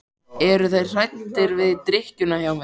Eru þeir hræddir við drykkjuna hjá mér?